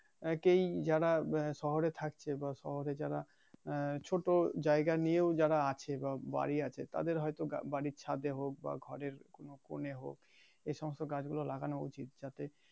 একেই যারা শহরে থাকছে বা শহরে যারা আহ ছোট জায়গা নিয়েও যারা আছে বা বাড়ি আছে তাদের হয়তো বাড়ির ছাদে হোক বা ঘরের কোন কোনে হোক এই সমস্ত গাছ গুলো লাগানো উচিত